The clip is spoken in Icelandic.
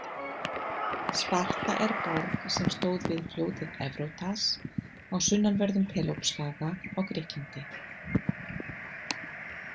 Sparta er borg sem stóð við fljótið Evrótas á sunnanverðum Pelópsskaga á Grikklandi.